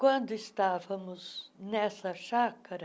Quando estávamos nessa chácara,